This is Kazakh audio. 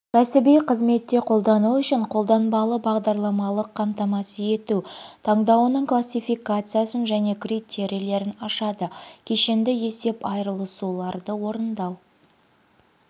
кәсіби қызметте қолдану үшін қолданбалы бағдарламалық қамтамасыз ету таңдауының классификациясын және критерийлерін ашады кешенді есеп айырысуларды орындау